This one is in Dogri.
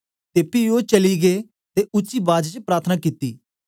ते पी ओ चली गै ते उच्ची बाज च प्रार्थना कित्ती